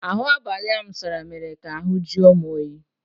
Ahụ abalị m sara mere ka ahụ jụọ m oyi.